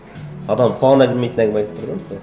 адамның құлағына келмейтін әңгіме айтып тұр да мысалы